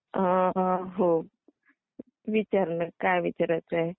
अं!! हो. विचार ना काय विचारायचं आहे ते.